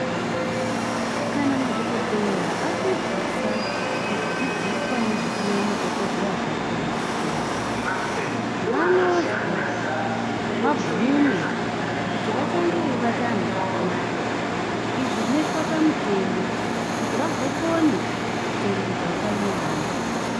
Kana madhogodheya apedzisa kudzidziswa nezvekuve madhogodheya zvakona kuchikora. Vanozwi vabvume kuti vachange veibata vantu zvakanaka. Izvi zvinoitwa pamutemo kuti vagokone kuchengetedza utano vevantu.